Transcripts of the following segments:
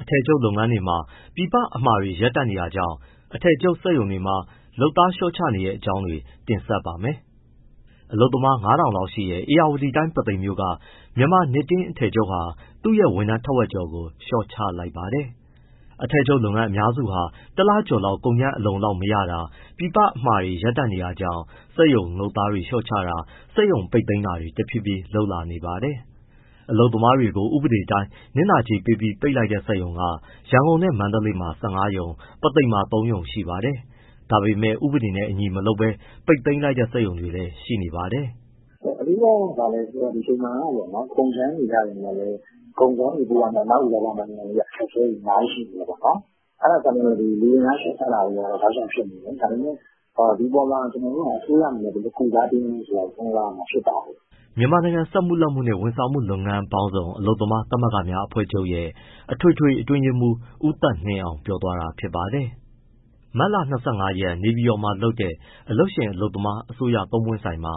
အထည်ချုပ်လုပ်ငန်းတွေမှာ ပြည်ပအမှာတွေ ရပ်တန့်တာကြောင့် အထည်ချုပ် စက်ရုံတွေမှာ လုပ်သား လျှော့ချနေတဲ့အကြောင်းတွေ တင်ဆက်ပါမယ်။ အလုပ်သမား ၅,၀၀၀ ထောင်လောက်ရှိတဲ့ ဧရာဝတီတိုင်း ပုသိမ်မြို့က မြန်မာနစ်တင်း အထည်ချုပ်ဟာ သူ့ရဲ့ ဝန်ထမ်းထက်ဝက်ကျော်ကို လျှော့ချလိုက်ပါတယ်။ အထည်ချုပ်လုပ်ငန်းအများစုဟာ တလကျော်လောက် ကုန်ကြမ်းအလုံအလောက် မရတာ၊ ပြည်ပအမှာတွေရပ်တန့်နေတာကြောင့် စက်ရုံလုပ်သားတွေ လျှော့ချတာ၊ စက်ရုံပိတ်သိမ်းတာတွေ တဖြည်းဖြည်းလုပ်လာနေပါတယ်။ အလုပ်သမားတွေကို ဥပဒေအတိုင်း နစ်နာကြေးပေးပြီး ပိတ်လိုက်တဲ့ စက်ရုံက ရန်ကုန်နဲ့ မန္တလေးမှာ ၁၅ ရုံ၊ ပုသိမ်မှာ ၃ ရုံ ရှိပါတယ်။ ဒါပေမဲ့ ဥပဒေနဲ့အညီ မလုပ်ဘဲ ပိတ်သိမ်းတဲ့ စက်ရုံတွေလည်း ရှိနေပါတယ်။ “အဓိက က ဘာလဲဆိုတော့ ဒီအချိန်မှာက ကုန်ကြမ်းတွေ ရပေမဲ့လည်း ကုန်ချောတွေ ပို့ရမဲ့ အနောက်ဥရောပနိုင်ငံရဲ့ အခက်အခဲတွေ အများကြီး ရှိနေတယ်ပေါ့နော်။ အဲဒါကြောင့်မို့ လူအင်အား လျှော့ချတာတွေက တောက်လျှောက်ဖြစ်နေတယ်။ ဒါပေမဲ့ ဒီအပေါ်မှာ အစိုးရအနေနဲ့ ဘယ်လိုကုစားပေးမလဲဆိုတာ စဉ်းစားရမှာ ဖြစ်ပါတယ်။” မြန်မာနိုင်ငံစက်မှုလက်မှုနှင့် ဝန်ဆောင်မှုလုပ်ငန်းပေါင်းစုံ အလုပ်သမားသမဂ္ဂများအဖွဲ့ချုပ် ရဲ့ အထွေထွေအတွင်းရေးမှူး ဦးသက်နှင်းအောင် ပြောသွားတာ ဖြစ်ပါတယ်။ မတ်လ ၂၅ ရက် နေပြည်တော်မှာ လုပ်တဲ့ အလုပ်ရှင်၊ အလုပ်သမား၊ အစိုးရ သုံးပွင့်ဆိုင်ပွဲမှာ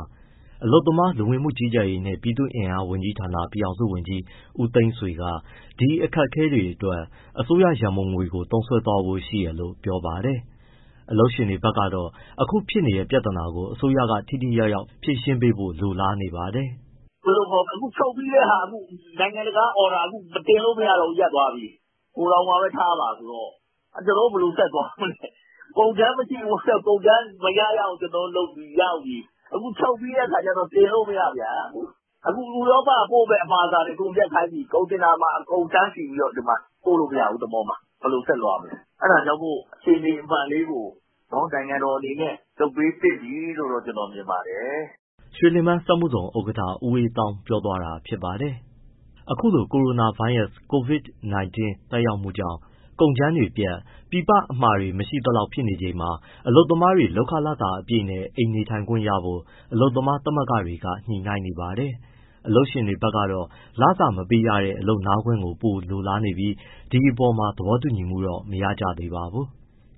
အလုပ်သမား၊ လူဝင်မှုကြီးကြပ်ရေးနှင့် ပြည်သူ့အင်အားဝန်ကြီးဌာန ပြည်ထောင်စုဝန်ကြီး ဦးသိန်းဆွေက ဒီအခက်အခဲတွေအတွက် အစိုးရရံပုံငွေကို သုံးစွဲသွားဖို့ရှိတယ်လို့ ပြောပါတယ်။ အလုပ်ရှင်တွေဘက်ကတော့ အခုဖြစ်နေတဲ့ ပြဿနာကို အစိုးရကထိထိရောက်ရောက် ဖြေရှင်းပေးဖို့ လိုလားနေပါတယ်။ “ဘယ်လိုခေါ်မလဲ အခုချုပ်ပြီးတဲ့ဟာနိုင်ငံတကာက order တင်လို့ မရတော့ဘူး၊ ရပ်သွားပြီ။ ဂိုထောင်မှာပဲ ထားပါဆိုတော့ ကျနော်တို့ ဘယ်လိုဆက်သွားမလဲ။ ကုန်ကြမ်းမရဘူးတဲ့၊ ကျနော်တို့ကုန်ကြမ်း မရ ရအောင်လုပ်ပြီး ရောက်နေပြီ။ အခုချုပ်ပြီးတဲ့ အခါကျတော့ တင်လို့မရပြန်ဘူး။ အခု ဥရောပပို့မယ့် အမှာစာတွေ အကုန်ရပ်ခိုင်းပြီ၊ ကုန်တင်တာမှာ တန်းစီပြီး ပို့လို့မရဘူး သင်္ဘောမှာ၊ ဘယ်လိုဆက်သွားမလဲ။ အဲဒါကြောင့်မို့ နိုင်ငံတော်အနေနဲ့တခုခုတော့ လုပ်ပေးသင့်ပြီလို့တော့ ကျနော်မြင်ပါတယ်။” ရွှေလင်ပန်းစက်မှုဇုန်ဥက္ကဋ္ဌ ဦးအေးသောင်း ပြောသွားတာ ဖြစ်ပါတယ်။ အခုလို ကိုရိုနာဗိုင်းရပ်စ် COVID-19 သက်ရောက်မှုကြေင့် ကုန်ကြမ်းတွေဖြတ်၊ ပြည်ပအမှာတွေ မရှိသလောက်ဖြစ်နေချိန်မှာ အလုပ်သမားတွေ လုပ်ခလစာအပြည့်နဲ့ အိမ်နေထိုင်ခွင့်ရဖို့ အလုပ်သမားသမဂ္ဂတွေက ညှိနှိုင်းနေပါတယ်။ အလုပ်ရှင်တွေဘက်ကတော့ လစာမပေးရတဲ့ အလုပ်နားခွင့်ကို ပိုလိုလားပြီး ဒီအပေါ်မှာ သဘောတူညီမှု မရကြသေးပါဘူး။